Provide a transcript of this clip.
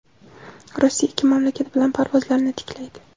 Rossiya ikki mamlakat bilan parvozlarni tiklaydi.